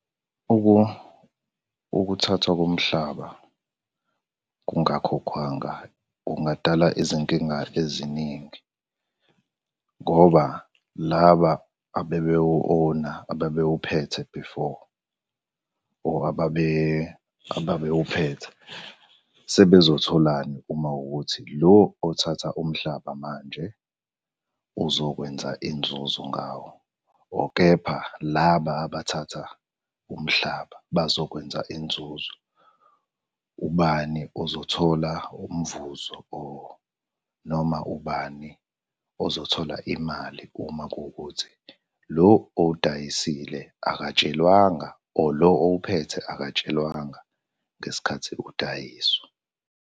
Ukuthathwa komhlaba kungakhokhwanga, kungadala izinkinga eziningi, ngoba laba abebewu-own-a, ababewuphethe before or ababewuphethe sebezotholani uma kuwukuthi lo othatha umhlaba manje uzokwenza inzuzo ngawo or kepha laba abathatha umhlaba bazokwenza inzuzo. Ubani ozothola umvuzo or noma ubani ozothola imali uma kuwukuthi lo owudayisile akatshelwanga or lo owuphethe akatshelwanga ngesikhathi udayiswa.